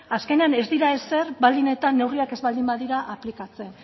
azkenean ez dira ezer baldin eta neurriak ez baldin badira aplikatzen